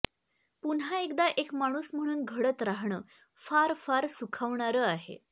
पुन्हा एकदा एक माणूस म्हणून घडत राहणं फार फार सुखावणारं आहे